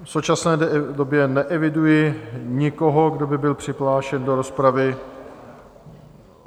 V současné době neeviduji nikoho, kdo by byl přihlášen do rozpravy.